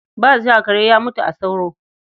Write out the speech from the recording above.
Ba ja, kare ya mutu a saura.